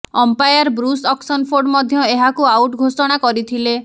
umpire Bruce Oxenford ମଧ୍ୟ ଏହାକୁ out ଘୋଷଣା କରିଥିଲେ